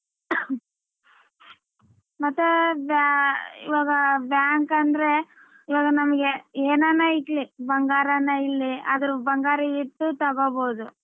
ಮತ್ತ ಇವಾಗ bank ಅಂದ್ರೆ ಇವಾಗ ನಮ್ಗೆ ಏನಾನ ಇರ್ಲಿ ಬಂಗಾರನೆ ಇರ್ಲಿ ಆದ್ರ ಬಂಗಾರ ಇಟ್ಟು ತಗಬೋದು.